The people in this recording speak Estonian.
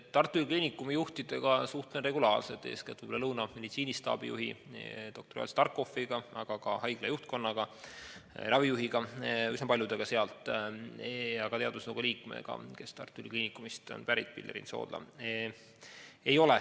Tartu Ülikooli Kliinikumi juhtidega suhtlen regulaarselt, eeskätt Lõuna meditsiinistaabi juhi doktor Joel Starkopfiga, aga ka haigla juhtkonnaga, ravijuhiga, üsna paljudega sealt ja ka teadusnõukoja liikme Pilleriin Soodlaga, kes on samuti Tartu Ülikooli Kliinikumist.